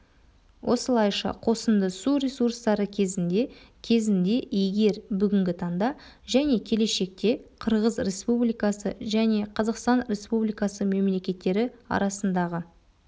осылайша қосынды су ресурстары кезінде кезінде егер бүгінгі таңда және келешекте қырғыз республикасы және қазақстан республикасы мемлекеттері арасындағы